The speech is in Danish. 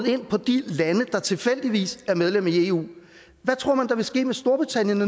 op på de lande der tilfældigvis er medlem af eu hvad tror man der vil ske med storbritannien